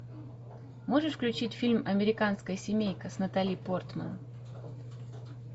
можешь включить фильм американская семейка с натали портман